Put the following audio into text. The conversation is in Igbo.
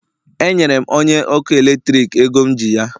Enyere m onye ọkụ eletrik ego m ji ya